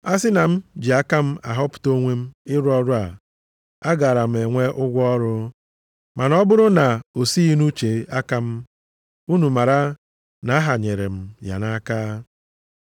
A sị na m ji aka m họpụta onwe m ịrụ ọrụ a, agaara m enwe ụgwọ ọrụ, ma na ọ bụrụ na o sighị nʼuche aka m, unu mara na-ahanyere m ya nʼaka.